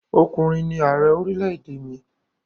Ọkùnrin ni ààrẹ orílẹ̀-èdè mi.